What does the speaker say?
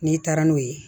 N'i taara n'o ye